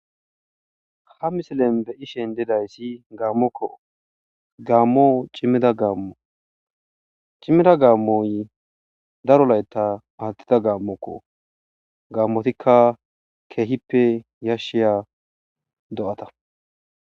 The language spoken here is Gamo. ha misilen be7i shen didayssi gaammokko gaammo cimmida gaammo cimmida gaammoy darolayta paattida gaammokko gaammotikka keehippe yashshiya do7ata